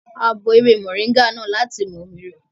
A bọ ewé mọ̀nríngà náà láti mu omi rẹ̀